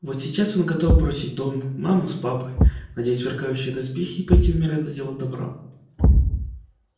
вот сейчас он готов бросить дом маму с папой надеть сверкающие доспехи и пойти умирать за дело добра